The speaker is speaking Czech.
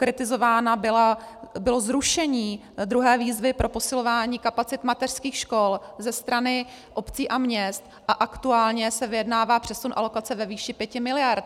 Kritizováno bylo zrušení druhé výzvy pro posilování kapacit mateřských škol ze strany obcí a měst a aktuálně se vyjednává přesun alokace ve výši 5 mld.